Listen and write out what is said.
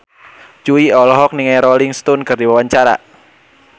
Jui olohok ningali Rolling Stone keur diwawancara